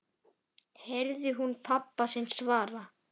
heyrði hún pabba sinn svara.